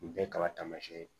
Nin bɛɛ ye kaba tama ye